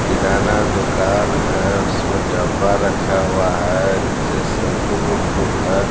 किराना दुकान है उसमें डब्बा रखा हुआ है नीचे से फूल फूल है।